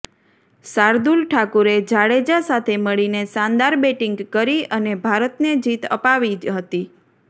શાર્દૂલ ઠાકુરે જાડેજા સાથે મળીને શાનદાર બેટિંગ કરી અને ભારતને જીત અપાવી હતી